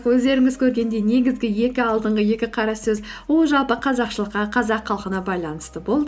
өздеріңіз көргендей негізгі екі алдынғы екі қара сөз ол жалпы қазақшылыққа қазақ халқына байланысты болды